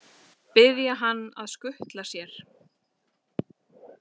Biðja hann að skutla sér?